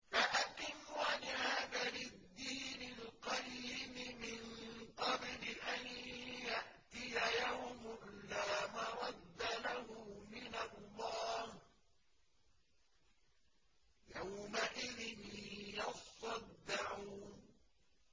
فَأَقِمْ وَجْهَكَ لِلدِّينِ الْقَيِّمِ مِن قَبْلِ أَن يَأْتِيَ يَوْمٌ لَّا مَرَدَّ لَهُ مِنَ اللَّهِ ۖ يَوْمَئِذٍ يَصَّدَّعُونَ